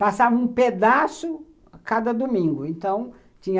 Passava um pedaço a cada domingo, então